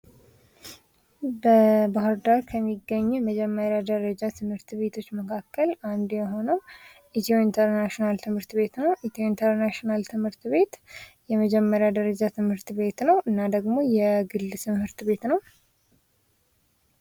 በባህር ዳር ከሚገኙ የመጀመሪያ ደረጃ ትምህርት ቤቶች መካከል አንዱ የሆነው ኢትዮ ኢንተርናሽናል ትምህርት ቤት ነው። ኢትዮ ኢንተርናሽናል ትምህርት ቤት የመጀመሪያ ደረጃ ትምህርት ቤት ነው። እና ደግሞ የግል ትምህርት ቤት ነው።